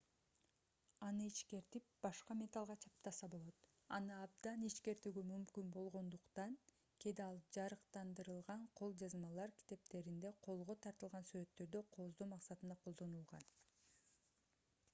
аны ичкертип башка металлга чаптаса болот аны абдан ичкертүүгө мүмкүн болгондукн кээде ал жарыктандырылган кол жазмалар китептеринде колго тартылган сүрөттөрдү кооздоо максатында колдонулган